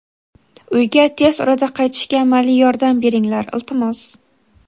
Uyga tez orada qaytishga amaliy yordam beringlar, iltimos.